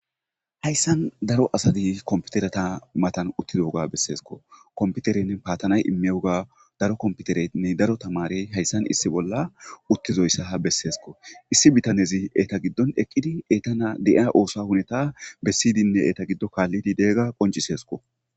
hayssan daro asadi komputerata matan uttidooga besseesko komputerenne paatanay immewoga daro komputereinne daro tamarey hayssan issi bolla uttizoyssa ha besseesko issi bitanezi eta giddon eqqidi eeta na de7ia oosa huneta bessidinne eeta giddo kaallidi deegga qoncisesko